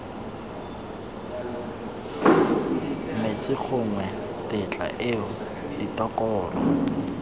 metsi gongwe tetla eo ditokololo